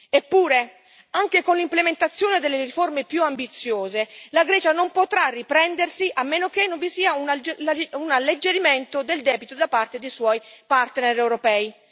Eppure, anche con l'implementazione delle riforme più ambiziose, la Grecia non potrà riprendersi, a meno che non vi sia un alleggerimento del debito da parte dei suoi partner europei.